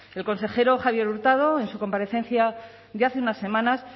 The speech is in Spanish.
el consejero javier hurtado en su comparecencia de hace unas semanas